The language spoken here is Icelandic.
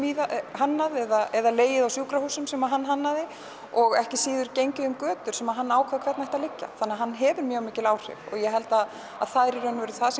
hannaði eða legið á sjúkrahúsi sem hann hannaði og ekki síður gengið á götum sem hann ákvað hvernig áttu að liggja þannig að hann hefur mjög mikil áhrif og ég held að það sé það